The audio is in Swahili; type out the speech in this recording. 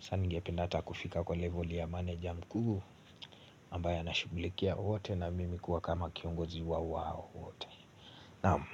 saa ningependa hata kufika kwa level ya meneja mkuu ambaye ana shughulikia wote na mimi kuwa kama kiongozi wa wao wote, naam.